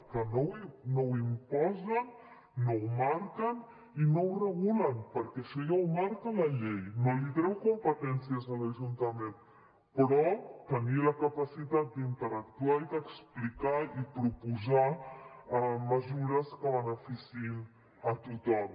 que no ho imposen no ho marquen i no ho regulen perquè això ja ho marca la llei no li treu competències a l’ajuntament però tenir la capacitat d’interactuar i d’explicar i proposar mesures que beneficiïn a tothom